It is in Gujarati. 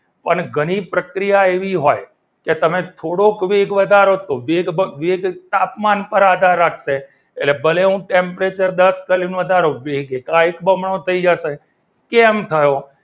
અને ઘણી પ્રક્રિયા એવી હોય કે તમે થોડોક વેગ વધારો તો વેગ તાપમાન પર આધાર રાખશે એટલે ભલે હું temperature દસ point વધારું એટલે વેગ એકાએક બમણો થઈ જશે કેમ થયું.